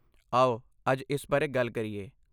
ਆਓ ਅੱਜ ਇਸ ਬਾਰੇ ਗੱਲ ਕਰੀਏ।